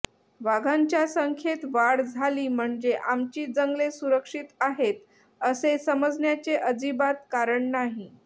वाघांच्या संख्येत वाढ झाली म्हणजे आमची जंगले सुरक्षित आहेत असे समजण्याचे अजिबात कारण नाही